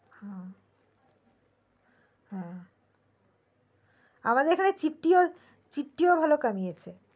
হ্যা আমাদের এখানে চিটি চিটিও ভালো কামিয়েছে